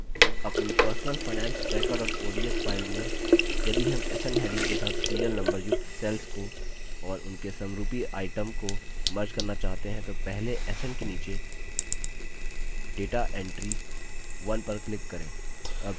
अपनी personal finance tracker ods file में यदि हम sn heading के साथ serial number युक्त cells को और उनके समरूपी items को merge करना चाहते हैं तो पहले sn के नीचे data entry 1 पर click करें